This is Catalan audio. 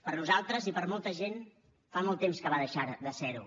per a nosaltres i per a molta gent fa molt de temps que va deixar de ser ho